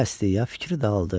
Əli əsdikcə fikri daldı.